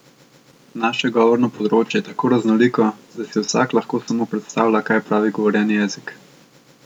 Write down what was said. Naše govorno področje je tako raznoliko, da si vsak lahko samo predstavlja kaj je pravi govorjeni jezik.